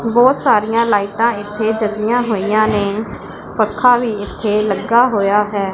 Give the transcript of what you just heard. ਬਹੁਤ ਸਾਰੀਆਂ ਲਾਈਟਾਂ ਇੱਥੇ ਜੱਗਿਆਂ ਹੋਈਆਂ ਨੇਂ ਪੱਖਾ ਵੀ ਇੱਥੇ ਲੱਗਾ ਹੋਇਆ ਹੈ।